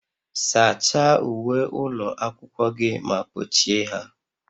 Sachaa uwe ụlọ akwụkwọ gị ma kpochie ha